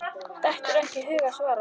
Dettur ekki í hug að svara.